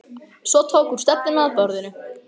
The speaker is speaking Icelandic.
Svo tók hún stefnuna að borðinu.